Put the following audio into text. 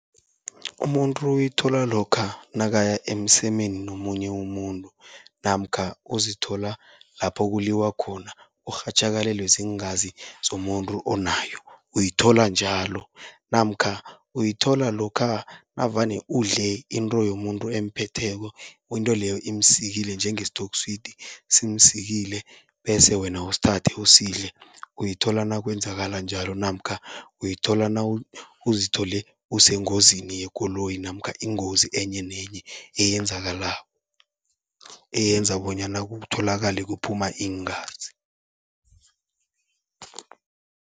Umuntu uyithola lokha nakaya emsemeni nomunye umuntu, namkha uzithola lapho kuliwa khona urhatjhakalelwe ziingazi zomuntu onayo uyithola njalo. Namkha uyithola lokha navane udle into yomuntu emphetheko, into leyo imsikile njengesitokswidi, simsikile, bese wena usithathe usidle uyithola nakwenzakala njalo. Namkha uyithola nawuzithole usengozini yekoloyi namkha ingozi enye nenye eyenza bonyana kutholakale kuphuma iingazi.